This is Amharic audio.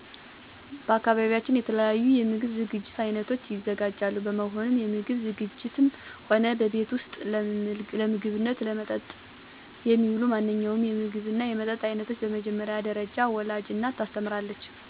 በአካባቢያችን የተለያዩ የምግብ ዝግጅት አይነቶች ይዘጋጃሉ በመሆኑም ምግብ ዝግጂትም ሆነ በቤት ውስጥ ለምግብነትና ለመጠጥ የሚውል ማንኛውንም የምግብና የመጠጥ አይነት በመጀመሪያ ደረጃ ወላጅ እናት ታስተምራለች ለምሳሌ፦ አንድ ምግብ ሲዘጋጅ መጀመሪያ የሚሰራበትን እቃ ማቅርብ፣ የሚሰራበትን እቃ ንፁህ መሆኑን ማረጋገጥ ከዚያ ለሚሰራው ምግብ የሚያስፈልጉ ነገሮችን በቅድም ተከተል ማስቀመጥ ሽንኩርት ይከተፋል፣ ድስት ይጣዳል፣ የተከተፈ ሽንኩርት ይጨመራል፣ ዘይት መጨመር፣ ማቁላላት በመጨረሻም ሊሰራ የተፈለገውን ስጋም ሆነ ሌላ ነገር መጨመር እያልን እናስተምራለን።